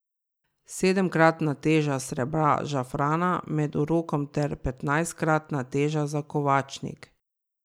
Sedemkratna teža srebra žafrana med urokom ter petnajstkratna teža za kovačnik.